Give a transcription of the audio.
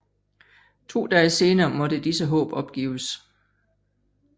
To dage senere måtte disse håb opgives